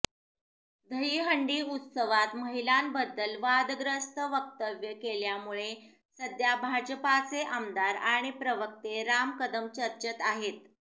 दहिहंडी उत्सवात महिलांबद्दल वादग्रस्त वक्तव्य केल्यामुळे सध्या भाजपाचे आमदार आणि प्रवक्ते राम कदम चर्चेत आहेत